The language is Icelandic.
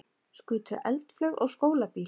Skutu eldflaug á skólabíl